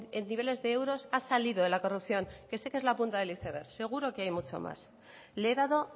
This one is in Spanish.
en niveles de euros ha salido de la corrupción que sé que es la punta del iceberg seguro que hay mucho más le he dado